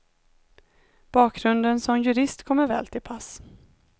Bakgrunden som jurist kommer väl till pass.